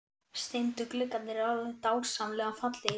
Steindu gluggarnir eru alveg dásamlega fallegir!